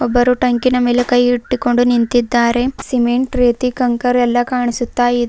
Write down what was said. ಒಬ್ಬರು ಟ್ಯಾಂಕಿನ ಮೇಲೆ ಕೈ ಇಟ್ಟುಕೊಂಡು ನಿಂತಿದ್ದಾರೆ ಸಿಮೆಂಟ್ ರೀತಿ ಕಂಕರ್ ಎಲ್ಲ ಕಾಣಿಸುತ್ತಾ ಇದೆ.